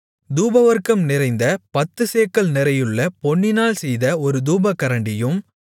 தூபவர்க்கம் நிறைந்த பத்துச்சேக்கல் நிறையுள்ள பொன்னினால் செய்த ஒரு தூபகரண்டியும்